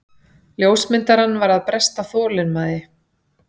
Ljósmyndarann var að bresta þolinmæði.